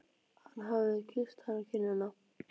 Hann hafði kysst hana á kinnina.